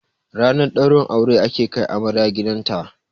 Ranar ɗaurin aure ake kai amarya gidanta